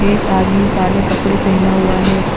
एक आदमी काले कपड़े पहना हुआ है।